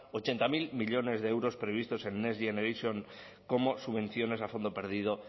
ochenta mil millónes de euros previstos en next generation como subvenciones a fondo perdido